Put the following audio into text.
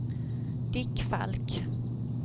Dick Falk